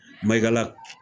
Maygala